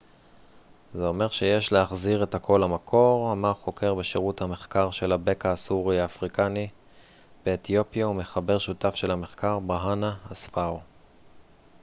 זה אומר שיש להחזיר את הכל למקור אמר חוקר בשירות המחקר של הבקע הסורי-אפריקני באתיופיה ומחבר שותף של המחקר ברהאנה אספאו